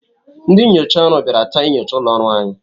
Ndị nnyocha ọrụ bịara taa inyocha ụlọ ọrụ anyị.